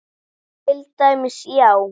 Til dæmis, já.